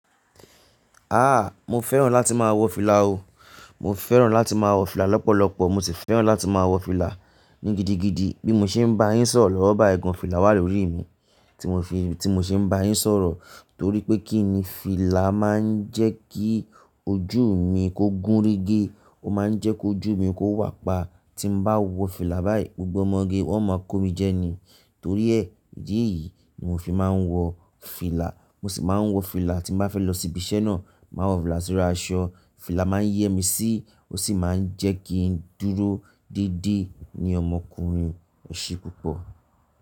A! Mo fẹ́ràn láti máa wọ fìlà o. Mo fẹ́ràn láti máa wọ fìlà lọ́pọ̀lọpọ̀. Mo sì fẹ́ràn láti máa wọ fìlà ní gidigidi. Bí mo ṣe ń bá yín sọ̀rọ̀ lọ́wọ́ bá ẹ̀gàn fìlà wà lórí mi tí mo fi, tí mo ṣe ń bá yín sọ̀rọ̀. Torí pé kíni fìlà máa ń jẹ́ kí ojú mi kó gún ríge. Ó máa ń jẹ́ kí ojú mi kó wà pa. Tí mo bá wọ fìlà báyìí, gbogbo ọmọge wọn máa kó mi jẹ́ ni. Torí ẹ́ ìdí èyí ni mo fi máa ń wọ fìlà. Mo sì máa ń wọ fìlà tí n bá fẹ́ lọ ibi iṣẹ́ náà. Mo maa n wọ fìlà sori aṣọ. Fìlà máa ń yẹ́ mi sí, ó sì máa ń jẹ́ kí n dúró dédé ní ọmọkùnrin ẹṣe púpọ̀